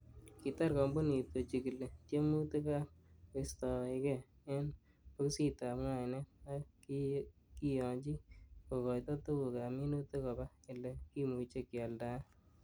Kitar kompunit kochigili tiemutik, ak koistoge en bokisitab ngainet, ak kikiyonyi kokoito tuguk ab minutik koba ele kimuche kialdaen.